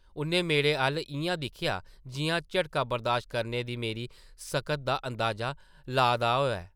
उʼन्नै मेरे अʼल्ल इʼयां दिक्खेआ जिʼयां झटका बरदाशत करने दी मेरी सकत दा अंदाज़ा ला दा होऐ ।